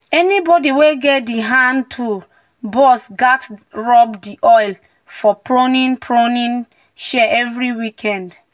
"anybody wey get di hand-tool box gats dey rub oil for pruning pruning shears every weekend."